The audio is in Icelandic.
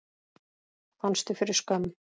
Fannstu fyrir skömm?